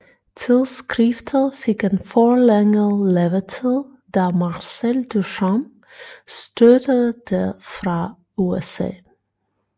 Tidsskriftet fik en forlænget levetid da Marcel Duchamp støttede det fra USA